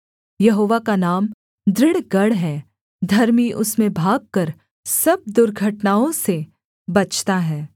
यहोवा का नाम दृढ़ गढ़ है धर्मी उसमें भागकर सब दुर्घटनाओं से बचता है